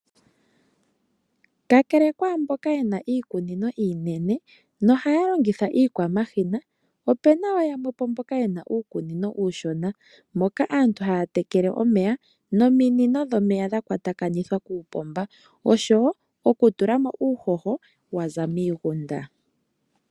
Kakele kwamboka ye na iikunino iinene na ohaya longitha iikwamashina , ope na wo yamwe po mboka ye na uukunino uushona moka aantu haya tekele omeya noominino dhomeya dha kwatakanithwa kuupomba oshowo okutula mo uuhoho wa za miigunda.